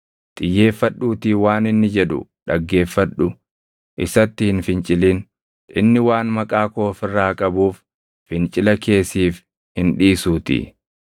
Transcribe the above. Xiyyeeffadhuutii waan inni jedhu dhaggeeffadhu. Isatti hin fincilin; inni waan Maqaa koo of irraa qabuuf fincila kee siif hin dhiisuutii.